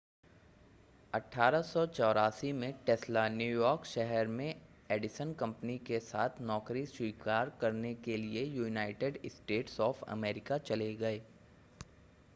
1884 में Tesla New York शहर में एडिसन कंपनी के साथ नौकरी स्वीकार करने के लिए यूनाइटेड स्टेट्स ऑफ़ अमेरिका चले गए